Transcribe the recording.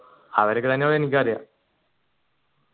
അവരൊക്കെ തന്നെ